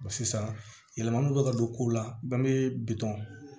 sisan yɛlɛma bɛ ka don kow la banke